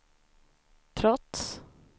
trots